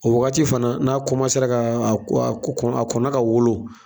O wagati fana n'a ra ka a ko a kɔkɔ a kɔnna ka wolo